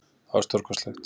Það var stórkostlegt.